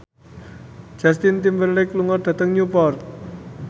Justin Timberlake lunga dhateng Newport